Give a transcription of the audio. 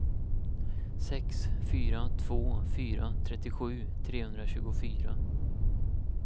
sex fyra två fyra trettiosju trehundratjugofyra